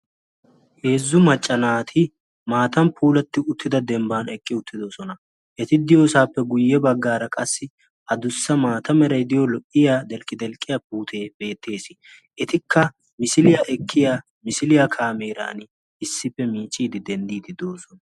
Heezzu maccanaati maatan puulatti uttida dembban eqqi uttidosona. Eti diyoosaappe guyye baggaara qassi ha dussa maata meraidiyo lo'iya delqqi-delqqiya puutee beettees. Etikka misiliyaa ekkiya misiliyaa kaameeran issippe miichiidi denddiidi doosona.